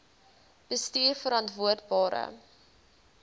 bestuurverantwoordbare